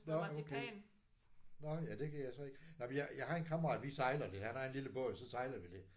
Nåh okay. Nåh ja det kan jeg så ikke. Nej men jeg jeg har sådan en kammerat vi sejler lidt han har sådan en lille båd så sejler vi lidt